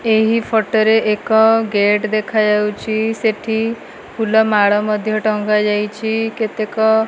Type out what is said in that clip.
ଏହି ଫୋଟୋ ରେ ଏକ ଗେଟ୍ ଦେଖାଯାଉଛି ସେଠି ଫୁଲ ମାଳ ମଧ୍ୟ ଟଙ୍ଗା ଯାଇଛି କେତେକ।